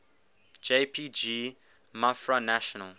jpg mafra national